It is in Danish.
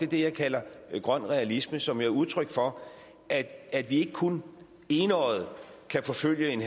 det jeg kalder grøn realisme som jo er udtryk for at vi ikke kun enøjet kan forfølge en